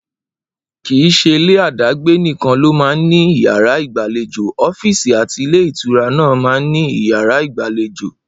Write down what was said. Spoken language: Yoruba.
Kì í s̩elé àdágbé nìkan ló máa ń ní yàrá ìgbàlejò, ó̩fíìsì àti ilé-ìtura náà máa ń ní yàrá ìgbàlejò